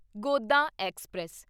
Godan express